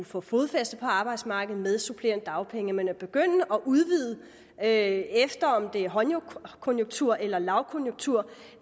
få fodfæste på arbejdsmarkedet med supplerende dagpenge men at begynde at udvide efter om der er højkonjunktur eller lavkonjunktur